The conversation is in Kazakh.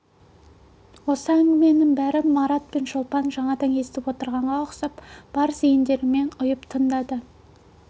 осы әңгіменің бәрін марат пен шолпан да жаңадан естіп отырғанға ұқсап бар зейіндерімен ұйып тыңдады